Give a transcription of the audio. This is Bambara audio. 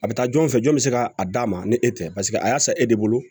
A bɛ taa jɔn fɛ jɔn bɛ se ka a d'a ma ni e tɛ paseke a y'a san e de bolo